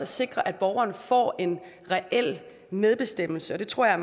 sikre at borgerne får reel medbestemmelse det tror jeg